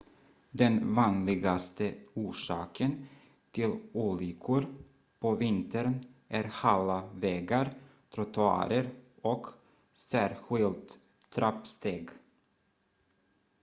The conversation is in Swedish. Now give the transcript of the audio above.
den vanligaste orsaken till olyckor på vintern är hala vägar trottoarer och särskilt trappsteg